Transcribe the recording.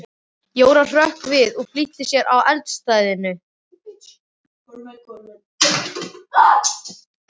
Jóra hrökk við og flýtti sér að eldstæðinu.